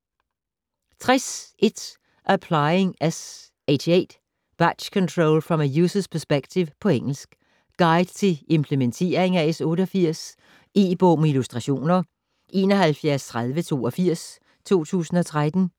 60.1 Applying S88: batch control from a user's perspective På engelsk. Guide til implementering af S88. E-bog med illustrationer 713082 2013.